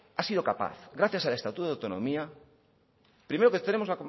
ha sido capaz gracias al estatuto de autonomía primero que tenemos